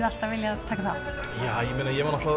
alltaf viljað taka þátt já ég meina ég var